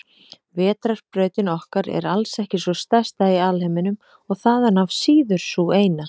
Vetrarbrautin okkar er alls ekki sú stærsta í alheiminum og þaðan af síður sú eina.